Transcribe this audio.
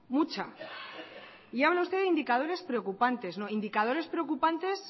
mucha y hablan ustedes de indicadores preocupantes no indicadores preocupantes